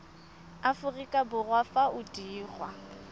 aforika borwa fa o dirwa